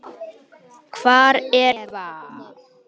Hvar er Eva?